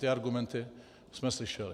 Ty argumenty jsme slyšeli.